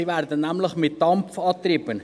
Sie werden nämlich mit Dampf angetrieben.